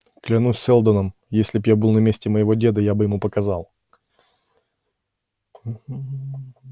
клянусь сэлдоном если б я был на месте моего деда я бы ему показал